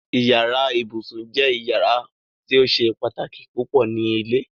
Ìyàrá ìbùṣún jẹ́ ìyàrá tí ó ṣè pátákí púpọ̀ ní ilẹ̀.